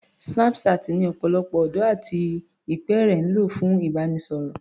Snapchat ni ọ̀pọ̀lọpọ̀ ọ̀dọ́ àti ìpẹ́ẹ̀rẹ̀ ń lò fún ìbánisọ̀rọ̀